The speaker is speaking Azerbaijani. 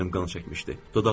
Gözlərim qan çəkmişdi.